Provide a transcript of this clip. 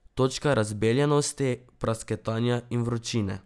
Točka razbeljenosti, prasketanja in vročine.